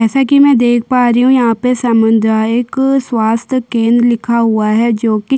जैसा की मै देख पा रही हु यहाँ पे सामुदायिक स्वाथ्य केंद्र लिखा हुआ है जो कि --